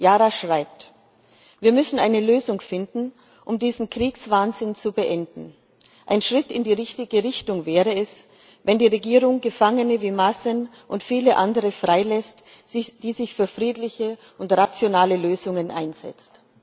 Yara schreibt Wir müssen eine Lösung finden, um diesen Kriegswahnsinn zu beenden. Ein Schritt in die richtige Richtung wäre es, wenn die Regierung Gefangene wie Mazen und viele andere frei lässt, die sich für friedliche und rationale Lösungen einsetzen.